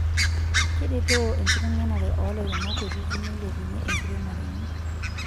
Keretoo enkitengenare oo lairemok kutiti meilepunyie enkiremore enye.